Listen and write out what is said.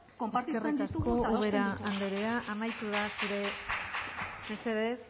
konpartitzen ditugu eta adosten ditugu eskerrik asko ubera anderea amaitu da zure denbora mesedez